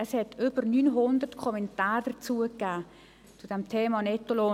Es gab über 900 Kommentare zum Thema «Nettolohn».